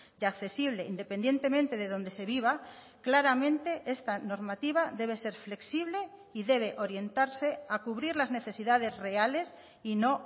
y accesible independientemente de dónde se viva claramente esta normativa debe ser flexible y debe orientarse a cubrir las necesidades reales y no